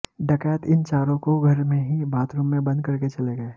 डकैत इन चारों को घर में ही बाथरूम में बंद करके चले गए